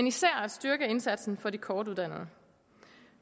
især at styrke indsatsen for de kortuddannede